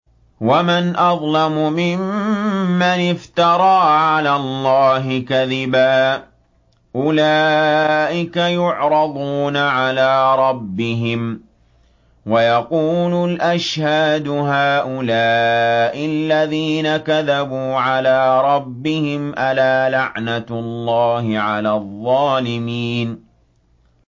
وَمَنْ أَظْلَمُ مِمَّنِ افْتَرَىٰ عَلَى اللَّهِ كَذِبًا ۚ أُولَٰئِكَ يُعْرَضُونَ عَلَىٰ رَبِّهِمْ وَيَقُولُ الْأَشْهَادُ هَٰؤُلَاءِ الَّذِينَ كَذَبُوا عَلَىٰ رَبِّهِمْ ۚ أَلَا لَعْنَةُ اللَّهِ عَلَى الظَّالِمِينَ